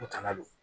O kana don